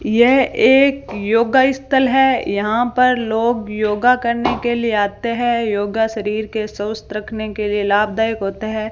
यह एक योगा स्थल है यहां पर लोग योगा करने के लिए आते हैं योगा शरीर के स्वस्थ रखने के लिए लाभदायक होता है।